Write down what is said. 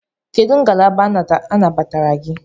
Kedụ ngalaba anabatara gị?